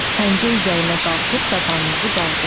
Pəncə üzərinə qalxıb dabanınızı qaldırın.